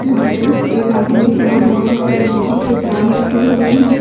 यहां पे एक आदमी खड़ा हुआ है। यहां पे बोहोत से तार निकले हुए हैं।